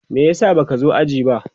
me yasa baka zo jiya ba?